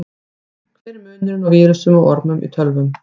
Hver er munurinn á vírusum og ormum í tölvum?